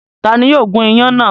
Ta ni yóò gún iyán náà?